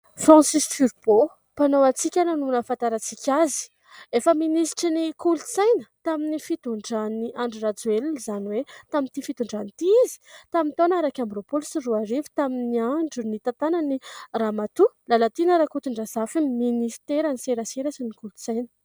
"Francis Turbo", mpanao hatsikana no nahafantarantsika azy. Efa minisitry ny kolotsaina tamin'ny fitondran'i Andry Rajoelina izany hoe tamin'ity fitondrana ity izy, tamin'ny taona iraika amby roapolo sy roa arivo, tamin'ny andro nitantanan'i ramatoa Lalatiana Rakotondrazafy ny ministeran'ny serasera sy ny kolotsaina.